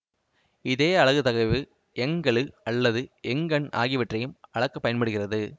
இதே அலகு தகைவு யங் கெழு அல்லது யங் எண் ஆகியவற்றையும் அளக்க பயன்படுகிறது